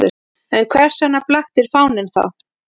En hvers vegna blaktir fáninn þá?